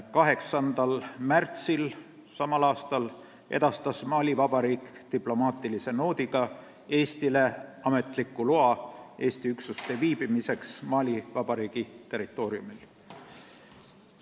8. märtsil edastas Mali Vabariik diplomaatilise noodiga Eestile ametliku loa Eesti üksuste viibimiseks Mali Vabariigi territooriumil.